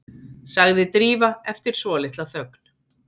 sagði Drífa eftir svolitla þögn.